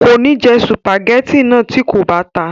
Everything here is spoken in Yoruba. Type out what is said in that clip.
kò ní jẹ sùpàgẹ́tì náà tí kò bá ta